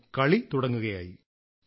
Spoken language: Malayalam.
പിന്നെ കളി തുടങ്ങുകയായി